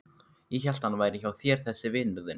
Ég hélt að hann væri hjá þér þessi vinur þinn.